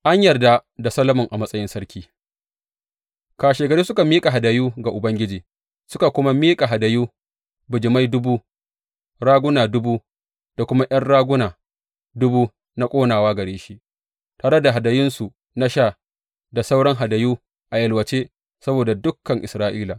An yarda da Solomon a matsayin sarki Kashegari suka miƙa hadayu ga Ubangiji suka kuma miƙa hadayu bijimai dubu, raguna dubu da kuma ’yan raguna dubu na ƙonawa gare shi, tare da hadayunsu na sha da sauran hadayu a yalwace saboda dukan Isra’ila.